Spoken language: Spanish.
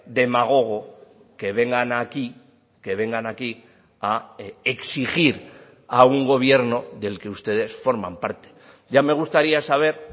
demagogo que vengan aquí que vengan aquí a exigir a un gobierno del que ustedes forman parte ya me gustaría saber